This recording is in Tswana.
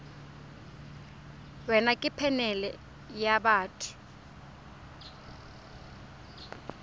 wena ke phanele ya batho